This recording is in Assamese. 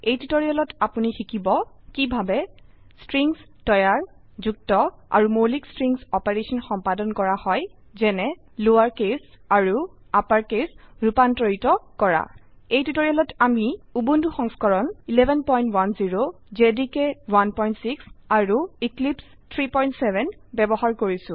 এই টিউটোৰিয়েলত আপোনি শিকিব কিভাবে স্ট্ৰিংস তৈয়াৰ যুক্ত আৰু মৌলিক স্ট্ৰিং অপাৰেশন সম্পাদন কৰা হয় যেনে লোয়াৰ কেস আৰু আপাড় কেস ৰুপান্তৰিত কৰা এই টিউটোৰিয়েলতআমি উবুন্টু সংস্কৰণ 1110 জেডিকে 16 আৰু এক্লিপছে 370 ব্যবহাৰ কৰিছো